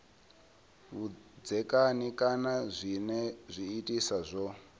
vhudzekani kana zwinwe zwiitisi zwo